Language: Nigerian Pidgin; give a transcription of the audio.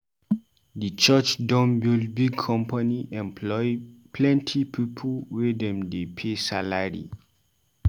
Di church don build big company employ plenty pipu wey dem dey pay salary